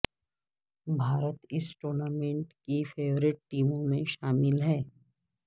بھارت اس ٹورنامنٹ کی فیورٹ ٹیموں میں شامل ہے